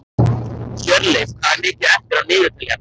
Hjörleif, hvað er mikið eftir af niðurteljaranum?